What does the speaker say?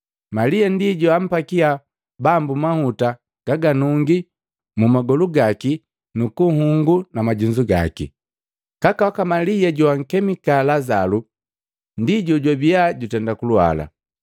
Malia ndi joampakia Bambu mahuta gaganungi mumagolu gaki nukunhungu na majunzu gaki. Kaka waka Malia joakemika Lazalu ndi jojwabia jutenda kulwala.